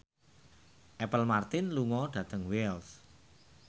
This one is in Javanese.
Apple Martin lunga dhateng Wells